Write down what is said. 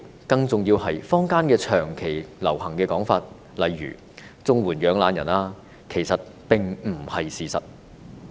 更重要的是，坊間長期流行一些說法，例如"綜援養懶人"等，其實並不是事實。